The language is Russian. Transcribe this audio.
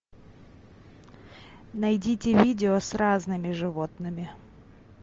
найдите видео с разными животными